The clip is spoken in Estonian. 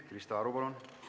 Krista Aru, palun!